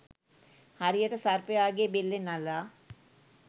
හරියට සර්පයාගේ බෙල්ලෙන් අල්ලා